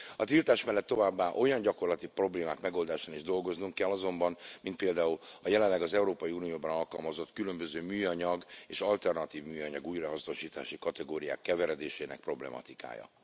A tiltás mellett továbbá olyan gyakorlati problémák megoldásán is dolgoznunk kell azonban, mint például a jelenleg az Európai Unióban alkalmazott különböző műanyag és alternatívműanyag újrahasznosítási kategóriák keveredésének problematikája.